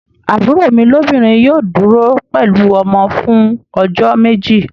Àbúrò mi lóbìnrin yóò dúró pẹ̀lú ọmọ fún ọjọ́ méjì.